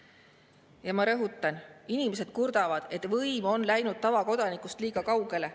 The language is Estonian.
Ja ma rõhutan, inimesed kurdavad, et võim on läinud tavakodanikust liiga kaugele.